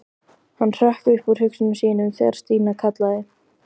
Hann hrökk upp úr hugsunum sínum þegar Stína kallaði.